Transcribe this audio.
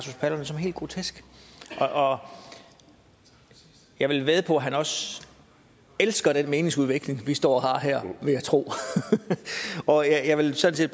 helt grotesk og jeg vil vædde på at han også elsker den meningsudveksling vi står og har her og jeg vil sådan